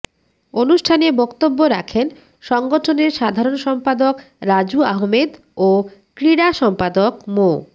অনুষ্ঠানে বক্তব্য রাখেন সংগঠনের সাধারণ সম্পাদক রাজু আহমেদ ও ক্রীড়া সম্পাদক মো